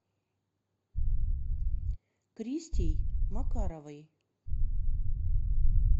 кристей макаровой